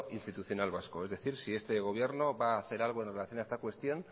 institucional vasco es decir si este gobierno va a hacer algo en relación a esta cuestión